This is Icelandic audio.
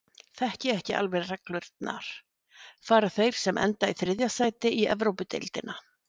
Þekki ekki alveg reglurnar. fara þeir sem enda í þriðja sæti í Evrópudeildina?